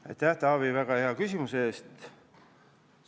Aitäh, Taavi, väga hea küsimuse eest!